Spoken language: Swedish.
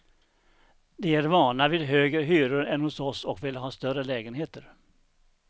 De är vana vid högre hyror än hos oss och vill ha större lägenheter.